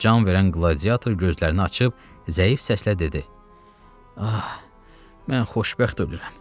Can verən qladiator gözlərini açıb zəif səslə dedi: “Ah, mən xoşbəxt ölürəm.